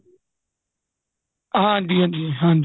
ਹਾਂਜੀ ਹਾਂਜੀ ਹਾਂਜੀ